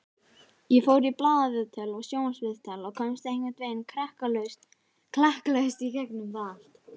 Ég fór í blaðaviðtöl og sjónvarpsviðtal og komst einhvern veginn klakklaust í gegnum það allt.